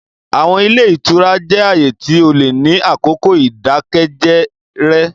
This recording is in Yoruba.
Àwọn ile itura jẹ aaye ti o le ni akoko idakẹjẹ rẹ.